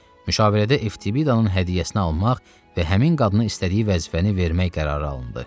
Müşavirədə Eftibidanın hədiyyəsini almaq və həmin qadını istədiyi vəzifəni vermək qərarı alındı.